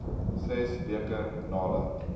ses weke nadat